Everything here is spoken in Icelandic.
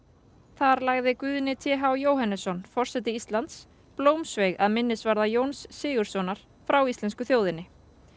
þar lagði Guðni t h Jóhannesson forseti Íslands blómsveig að minnisvarða Jóns Sigurðssonar frá íslensku þjóðinni